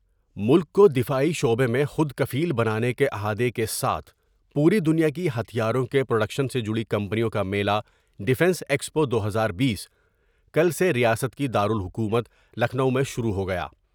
ملک کو دفاعی شعبے میں خودکفیل بنانے کے عہادے کے ساتھ پوری دنیا کی ہتھیاروں کے پروڈیکشن سے جڑی کمپنیوں کا میلا ڈفینس ایکسپو دو ہزار بیس کل سے ریاست کی دارالحکومت لکھنو میں شروع ہو گیا ۔